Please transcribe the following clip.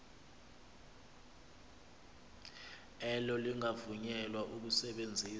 elo lingavunyelwa ukusebenzisa